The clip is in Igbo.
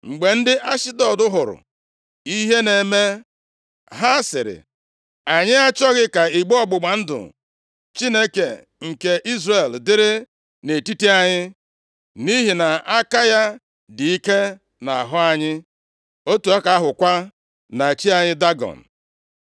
Mgbe ndị Ashdọd hụrụ ihe na-eme, ha sịrị, “Anyị achọghị ka igbe ọgbụgba ndụ Chineke nke Izrel dịrị nʼetiti anyị, nʼihi na aka ya dị ike nʼahụ anyị, otu aka ahụkwa na chi anyị Dagọn.”